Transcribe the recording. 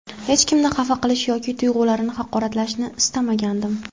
Hech kimni xafa qilish yoki tuyg‘ularini haqoratlashni istmagandim.